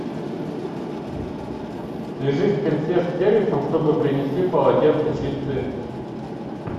свяжись с консьерж сервисом чтобы принесли полотенца чистые